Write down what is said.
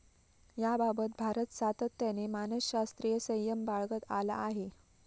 याबाबत भारत सातत्याने मानसशास्रीय संयम बाळगत आला आहे.